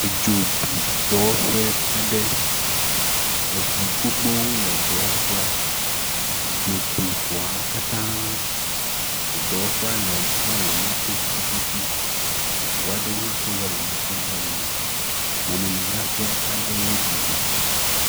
Edzo bi dɔwɔƒe aɖe, eŋu gbogbowo le dɔwɔƒea, dzo bi ŋuawo katã, dɔwɔƒea le lɔri mɔto tututu, ŋua ɖewo hã to lɔri mɔto va yina, mɔmemidzraƒe aɖee bi dzo.